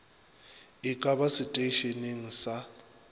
e ka ba seteišeneng sa